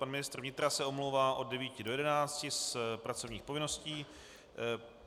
Pan ministr vnitra se omlouvá od 9 do 11 z pracovních povinností.